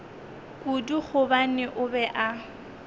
kudu gobane o be a